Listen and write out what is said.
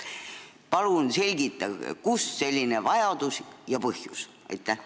Palun selgitage, kust selline vajadus ja põhjus!